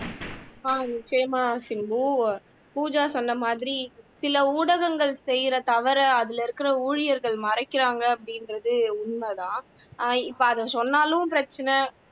அஹ் same தான் சிம்பு பூஜா சொன்ன மாதிரி சில ஊடகங்கள் செய்யிற தவறை அதுல இருக்கிற ஊழியர்கள் மறைக்கிறாங்க அப்படின்றது உண்மைதான் அஹ் இப்ப அதை சொன்னாலும் பிரச்சினை